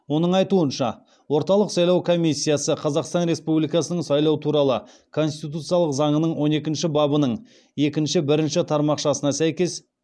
оның айтуынша орталық сайлау комиссиясы қазақстан республикасының сайлау туралы конституциялық заңының он екінші бабының екінші бірінші тармақшасына сәйкес